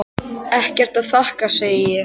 Ekkert að þakka, segi ég.